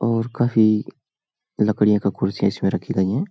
और काफी लकड़ियां का कुर्सियां इसमें रखी गईं हैं।